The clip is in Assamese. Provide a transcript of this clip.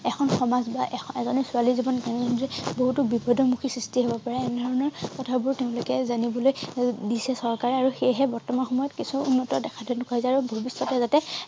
এখন সমাজ বা এজনী ছোৱালী জীৱন বহুতো বিপদৰ মুখি সৃষ্টি হব পাৰে এনেধৰণৰ কথাবোৰ তেওঁলোকে জানিবলৈ দিছে চৰকাৰে আৰু সেইহে বৰ্তমান সময়ত কিছু উন্নত দেখা যায় আৰু ভবিষ্যতে যাতে